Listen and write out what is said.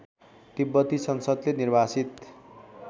तिब्बती संसदले निर्वासित